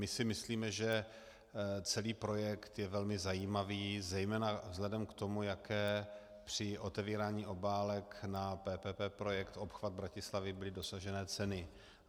My si myslíme, že celý projekt je velmi zajímavý zejména vzhledem k tomu, jaké při otevírání obálek na PPP projekt obchvat Bratislavy byly dosažené ceny.